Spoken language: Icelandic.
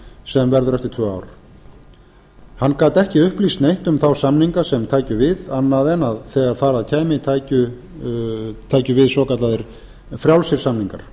sem verður eftir tvö ár hann gat ekki upplýst neitt um þá samninga sem tækju við annað en að þegar þar að kæmi tækju við svokallaðir frjálsir samningar